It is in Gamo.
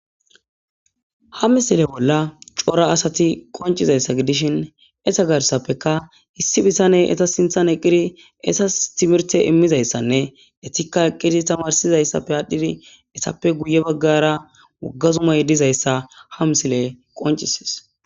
Ha misile bolla cora asati qoncizaysa gidishn eta gatdappeka issi bitaney sinthani eqidi etasi timhirete imizysanne etika eqidi tamarsizaysappe adhidi etappe guye bagara wogga zumay dizaysa ha misiley qoncises.